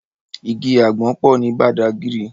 Igi ágbòn pò ni Bàdágìrí